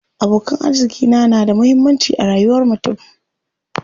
Abokan arziƙi na da muhammanci a rayuwar mutum.